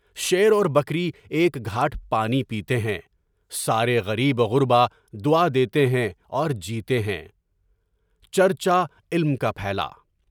شیر اور بکری ایک گھاٹ پانی پیتے ہیں، سارے غریب و گربا عادی ہیں اور جیتے ہیں۔ چرچا علم کا پھیلا۔